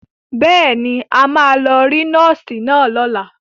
Bẹ́ẹ̀ ni, a máa lọ rí nọ́ọ́sì náà lọ́la.